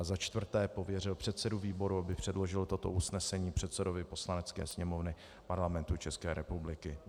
A za čtvrté pověřil předsedu výboru, aby předložil toto usnesení předsedovi Poslanecké sněmovny Parlamentu České republiky.